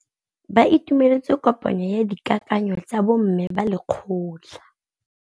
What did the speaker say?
Ba itumeletse kôpanyo ya dikakanyô tsa bo mme ba lekgotla.